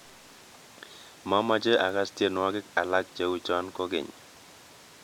Mamache agaas tyenwogik alak cheuchoe kogeny